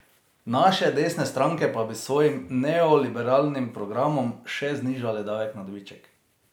Naše desne stranke pa bi s svojim neoliberalnim programom še znižale davek na dobiček.